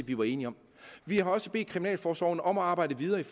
vi var enige om vi har også bedt kriminalforsorgen om at arbejde videre